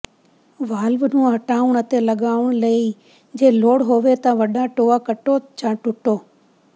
valve ਨੂੰ ਹਟਾਉਣ ਅਤੇ ਲਗਾਉਣ ਲਈ ਜੇ ਲੋੜ ਹੋਵੇ ਤਾਂ ਵੱਡਾ ਟੋਆ ਕੱਟੋ ਜਾਂ ਟੁੱਟੋ